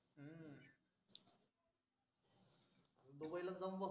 दुबईला जाऊन बसतो